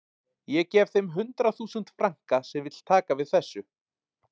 Ég gef þeim hundrað þúsund franka sem vill taka við þessu